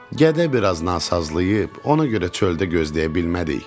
Gədə biraz nasazlayıb, ona görə çöldə gözləyə bilmədik.